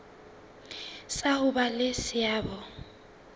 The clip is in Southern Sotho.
sa ho ba le seabo